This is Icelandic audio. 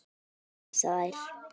Og kyssa þær.